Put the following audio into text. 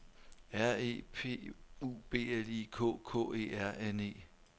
R E P U B L I K K E R N E